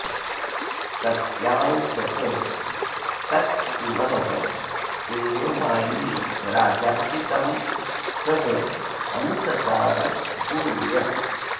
तस्यांसतस्तत्पुनः एव मायी राजापि तं सः अनुससार भूयः